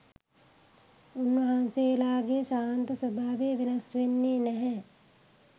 උන්වහන්සේලාගේ ශාන්ත ස්වභාවය වෙනස් වෙන්නේ නැහැ